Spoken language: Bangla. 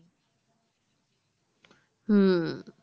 হুম